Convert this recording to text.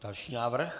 Další návrh.